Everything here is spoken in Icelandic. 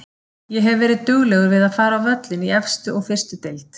Ég hef verið duglegur við að fara á völlinn í efstu og fyrstu deild.